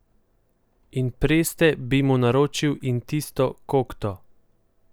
In preste bi mu naročil in tisto kokto.